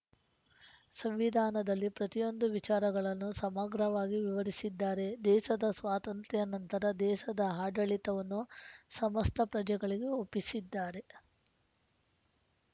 ಸಂವಿಧಾನದಲ್ಲಿ ಪ್ರತಿಯೊಂದು ವಿಚಾರಗಳನ್ನು ಸಮಗ್ರವಾಗಿ ವಿವರಿಸಿದ್ದಾರೆ ದೇಸದ ಸ್ವಾತಂತ್ರ್ಯ ನಂತರ ದೇಸದ ಆಡಳಿತವನ್ನು ಸಮಸ್ತ ಪ್ರಜೆಗಳಿಗೆ ಒಪ್ಪಿಸಿದ್ದಾರೆ